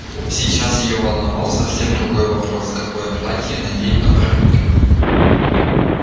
сейчас её волновал совсем другой вопрос какое платье надеть на барбекю